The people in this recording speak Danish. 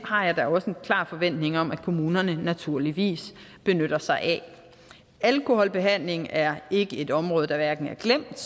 har jeg da også en klar forventning om at kommunerne naturligvis benytter sig af alkoholbehandling er ikke et område der er glemt